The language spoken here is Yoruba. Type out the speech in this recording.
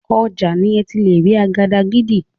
Ọjà ni ẹ ti lè rí àgàdàgídí.